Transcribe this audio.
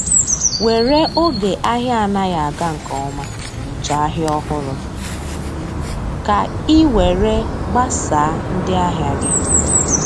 were oge ahia anaghi aga nke ọma chọọ ahịa ọhụrụ ka ị were gbasaa ndị ahịa gị.